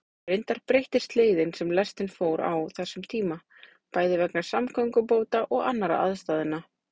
Reyndar breyttist leiðin sem lestin fór á þessum tíma, bæði vegna samgöngubóta og annarra aðstæðna.